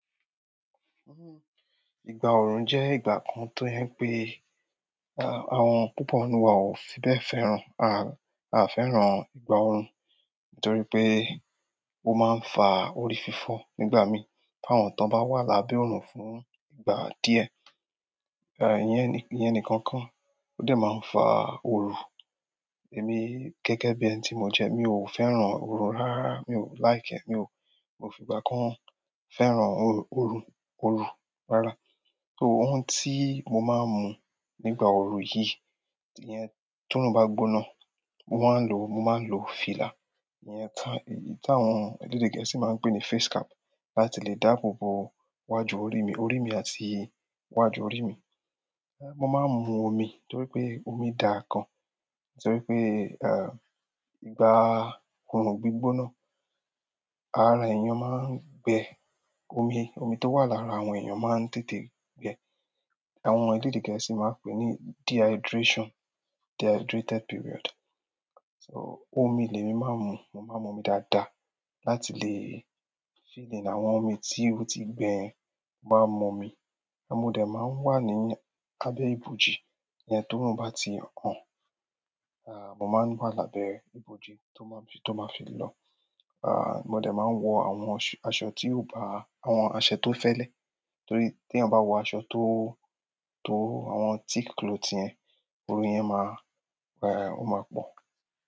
Ìgbà orun jẹ́ ìgbà kan tó je pé, àwọn púpọ̀ nínú wa ò fi bẹ́ fẹ́ràn. Aa fẹ́ràn ìgbà orun nítorí pé ó máa ń fa orí fífọ́ nígbà mí. Fáwọn tán bá wà lábẹ́ òòrùn fún ìgbà díẹ̀, iyẹn nìkan ko. Ó de máa ń fa oru èmi gẹ́gẹ́ bí ẹni tí mo jẹ. Mi ò fẹ́ràn oru rárá, mi ò like e, mi ò, mo fi ìgbà kan fẹ́ràn oru rárá. So, ohun tí mo máa ń mu nígbà oru yìí, iyen tí ó oorun gbóná, mo ma n lo, mo máa ń lo fìlà. Ìyẹn ti, èyí tí àwọn elédè gẹ̀ẹ́sì máa ń pè ní face cap láti lè dáàbòbo wájú orí mi, orí mi àti iwájú orí mi. Mo máa ń mu omi nítorí pé omi dà gan. Nítorí pé ìgbà orun gbígbóná, ara èèyàn máa ń gbẹ, omi tó wà lára àwọn èèyàn máa ń tètè gbẹ. Àwọn elédè gẹ̀ẹ́sì máa ń pè é ní dehydration, dehydrated period. So, omi lẹ́mi máa ń mu. Mo máa ń mu omi dáadáa láti lè fill-in àwọn omi tí ó ti gbẹ, mo máa ń mú omi. Mo de máa ń wà ní abẹ́ ibòji iyẹn toorun bá ti hàn. À, mo máa ń wà lábẹ́ ibòji tó máa fi, tó máa fi lọ. Mo de máa ń wọ àwọn aṣọ tí ó bá, àwọn aṣọ tó fẹ́lẹ́. Torí tí eeyan bá wọ àwọn aṣọ tó, àwọn thick cloth yẹn, oru yẹn máa, o máa pọ̀.